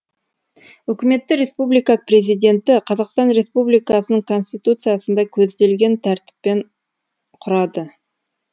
үкіметті республика президенті қазақстан республикасының конституциясында көзделген тәртіппен құрады